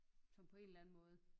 Sådan på en eller anden måde